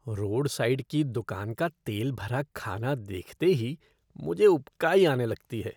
Road side की दुकान का तेल भरा खाना देखते ही मुझे उबकाई आने लगती है।